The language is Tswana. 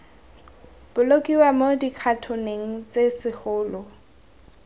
bolokiwa mo dikhatoneng tse segolo